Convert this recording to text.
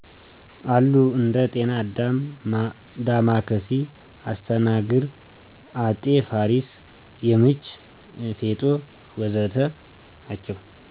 አሉ እንደ ጤና አዳም፣ ዳማከሴ፣ አስተናግር ( አጤ ፋሪስ )፣ የምች፣ ፌጦ፣ ወ.ዘ.ተ...